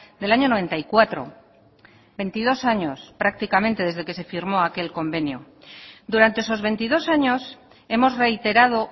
del año noventa y cuatro veintidós años prácticamente desde que se firmó aquel convenio durante esos veintidós años hemos reiterado